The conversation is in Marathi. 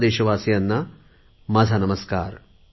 सर्व देशवासीयांना माझा नमस्कार